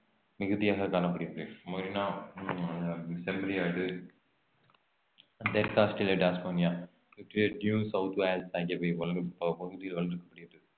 மிகுதியாக காணப்படுகிறது செம்மறி ஆடு தெற்கு Australia Tasmania Victoria New South Wales பகுதியில் வளர்க்கப்படுகிறது